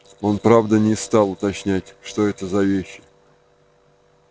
он правда не стал уточнять что это за вещи